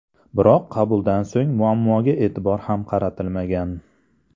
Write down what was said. Biroq qabuldan so‘ng muammoga e’tibor ham qaratilmagan.